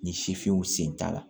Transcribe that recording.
Ni sifinw sen t'a la